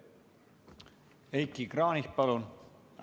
Heiki Kranich, palun!